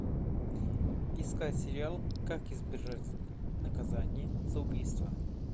искать сериал как избежать наказания за убийство